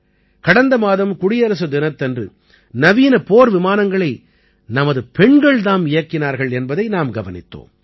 கடந்த மாதம் குடியரசுத் தினத்தன்று நவீன போர் விமானங்களை நமது பெண்கள் தாம் இயக்கினார்கள் என்பதை நாம் கவனித்தோம்